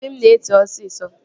Obi m na-eti osisọ